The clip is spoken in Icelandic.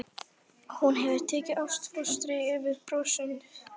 Og hún hefur tekið ástfóstri við bronsið.